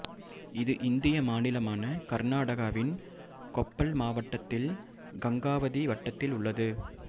இது இந்திய மாநிலமான கர்நாடகாவின் கொப்பள் மாவட்டத்தில் கங்காவதி வட்டத்தில் உள்ளது